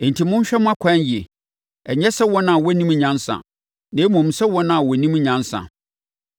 Enti, monhwɛ mo akwan yie, ɛnyɛ sɛ wɔn a wɔnnim nyansa, na mmom sɛ wɔn a wɔnim nyansa.